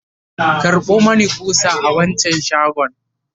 karɓo Mani ƙusa a wancan shagon!